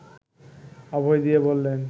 অভয় দিয়ে বললেন